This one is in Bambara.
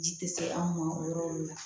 Ji tɛ se an ma o yɔrɔ le la